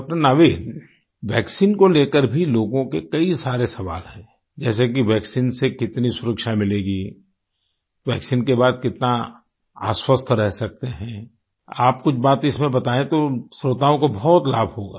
डॉ० Naveed vaccine को लेकर भी लोगो के कई सारे सवाल है जैसे कि वैक्सीन से कितनी सुरक्षा मिलेगी वैक्सीन के बाद कितना आश्वस्त रह सकते हैं आप कुछ बात इसमें बतायें श्रोताओं को बहुत लाभ होगा